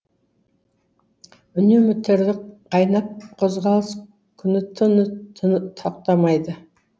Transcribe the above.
үнемі тірлік қайнап қозғалыс күні түні тоқтамайды